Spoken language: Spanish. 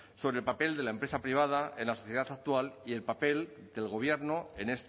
sobre el papel de la empresa privada en la sociedad actual y el papel del gobierno en